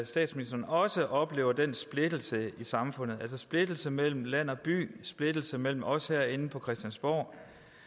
statsministeren også oplever den splittelse i samfundet en splittelse mellem land og by en splittelse mellem os herinde på christiansborg